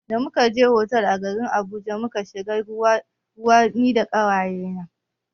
Da muka je otal a garin Abuja mun shiga cikin ruwa mun yi wanka da ƙawaye na.